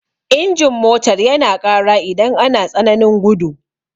Injin motar yana ƙara idan ana tsananin gudu.